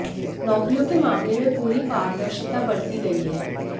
नौकरियों के मामले में पूरी पारदर्शिता बरती गई है